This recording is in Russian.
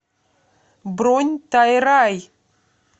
бронь тайрай